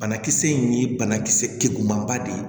Banakisɛ in ye banakisɛ kuruman ba de ye